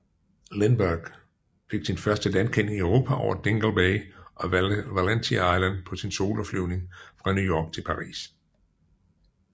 Lindbergh sin første landkending i Europa over Dingle Bay og Valentia Island på sin soloflyvning fra New York til Paris